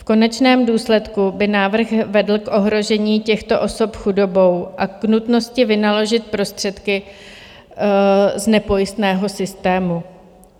V konečném důsledku by návrh vedl k ohrožení těchto osob chudobou a k nutnosti vynaložit prostředky z nepojistného systému.